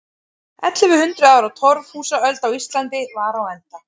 Ellefu hundruð ára torfhúsaöld á Íslandi var á enda.